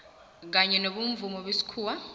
kanye nobomvumo wesikhuwa